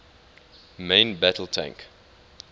main battle tank